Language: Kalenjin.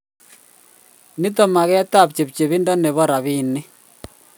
mto maget ab chepchepindo nebo rabinik